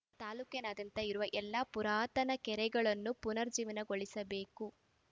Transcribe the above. ತಾಲೂಕಿನಾದ್ಯಂತ ಇರುವ ಎಲ್ಲ ಪುರಾತನ ಕೆರೆಗಳನ್ನು ಪುನರುಜ್ಜೀವನಗೊಳಿಸಬೇಕು